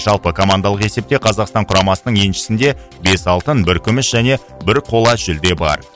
жалпы командалық есепте қазақстан құрамасының еншісінде бес алтын бір күміс және бір қола жүлде бар